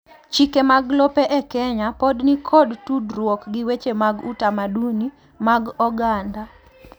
chike mag lope e Kenya pod nikod tudruok gi weche mag utamaduni mag oganda